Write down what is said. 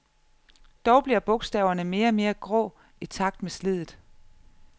Dog bliver bogstaverne mere og mere grå i takt med sliddet.